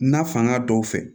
Na fanga dɔw fɛ